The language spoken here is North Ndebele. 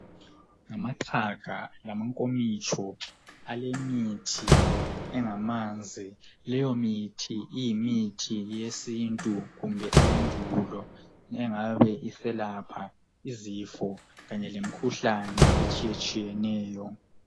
Amaqhaga lamankomitsho alemithi engamanzi. Leyo mithi iyimithi yesintu kumbe eyendulo engabe iselapha izifo kanye lemikhuhlane etshiyatshiyeneyo.